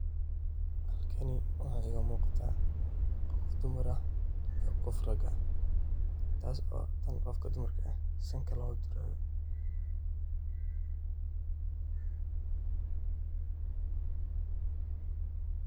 Halkani waxa igamugata gof dumar ah iyo gof taag ah, taas oo gofka dumarka eh sanka lagdurayo.